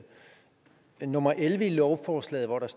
den her stribe af lovforslag